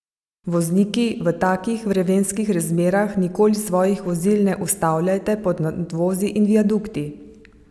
Vozniki, v takih vremenskih razmerah nikoli svojih vozil ne ustavljajte pod nadvozi in viadukti!